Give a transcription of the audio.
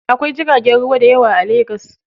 Akwai jiragen ruwa dayawa a legas.